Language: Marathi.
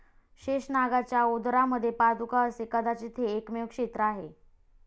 शेषनागाच्या उदरामध्ये पादुका असे कदाचित हे एकमेव क्षेत्र आहे.